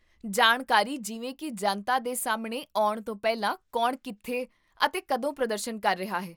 ਜਾਣਕਾਰੀ ਜਿਵੇਂ ਕੀ ਜਨਤਾ ਦੇ ਸਾਹਮਣੇ ਆਉਣ ਤੋਂ ਪਹਿਲਾਂ ਕੌਣ ਕਿੱਥੇ ਅਤੇ ਕਦੋਂ ਪ੍ਰਦਰਸ਼ਨ ਕਰ ਰਿਹਾ ਹੈ?